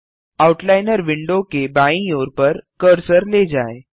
outliner window के बायीं ओर पर कर्सर ले जाएँ